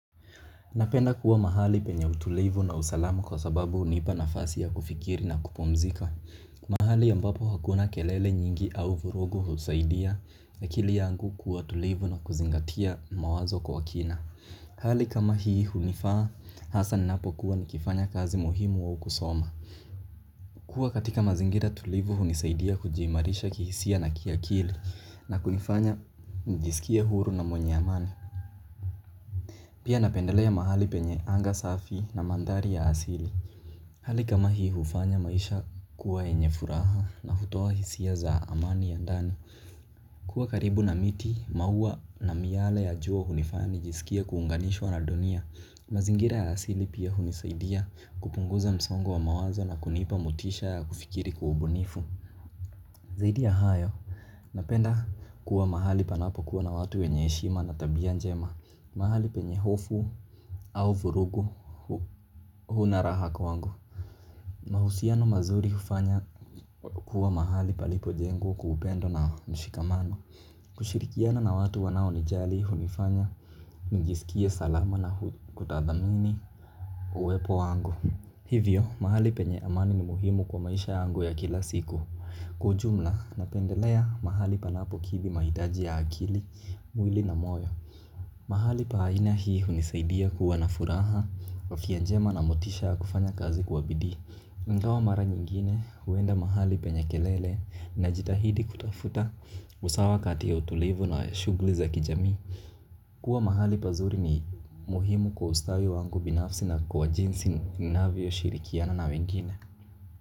Napenda kuwa mahali penye utulivu na usalama kwa sababu unipa nafasi ya kufikiri na kupumzika. Mahali ambapo hakuna kelele nyingi au vurugu husaidia na kili yangu kuwa tulivu na kuzingatia mawazo kwa kina. Hali kama hii hunifaa, hasa ninapo kuwa nikifanya kazi muhimu au kusoma. Kuwa katika mazingira tulivu hunisaidia kujiimarisha kihisia na kia kili na kunifanya njisikia huru na mwenye amani. Pia napendelea mahali penye anga safi na mandhari ya asili. Hali kama hii ufanya maisha kuwa yenye furaha na hutoa hisia za amani ya ndani. Kuwa karibu na miti, mauwa na miyale ya jua hunifaninya nijisikie kuunganishwa na dunia. Mazingira ya asili pia hunisaidia kupunguza msongo wa mawazo na kunipa motisha ya kufikiri kwa ubunifu. Zaidi ya hayo, napenda kuwa mahali panapo kuwa na watu wenye heshima na tabia njema. Mahali penye hofu au vurugu hunaraha kwa wangu. Mahusiano mazuri hufanya kuwa mahali palipo jengwa kwa upendo na mshikamano. Kushirikiana na watu wanao nijali hunifanya nijisikie salama na kutadhamini uwepo wangu. Hivyo, mahali penye amani ni muhimu kwa maisha yangu ya kila siku. Kwaujumla, napendelea mahali panapo kizi mahitaji ya akili, mwili na moyo mahali pa aina hii hunisaidia kuwa na furaha afya njema na motisha ya kufanya kazi kwa bidii ingawa mara nyingine huenda mahali penye kelele na jitahidi kutafuta usawa kati ya utulivu na shughuli za kijami. Kuwa mahali pazuri ni muhimu kwa ustawi wangu binafsi na kwa jinsi ninaavyo shirikiana na wengine.